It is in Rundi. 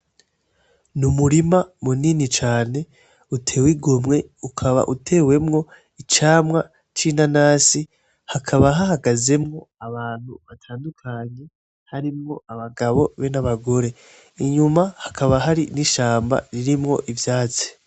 N'umurima munini cane uteye igomwe, ukaba utewemwo icamwa c'inanasi, hakaba hahagazemwo abantu batandukanye harimwo abagabo n'abagore, inyuma hakaba hari ishamba ririmwo ivyatsi.